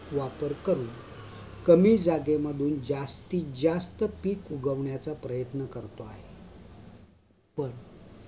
वापर करून कमी जागे मधून जास्तीत जास्त पीक उगवण्याचा प्रयत्न करतो आहे पण